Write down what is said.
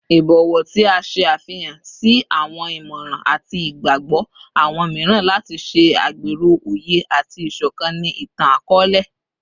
Ibọwọ ti a ṣe afihan si awọn imọran ati igbagbọ awọn miiran lati ṣe agbero oye ati isokan ni itan-akọọlẹ